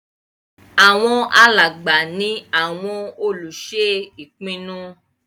Àwọn alàgbà ní àwọn olùṣe ìpinnu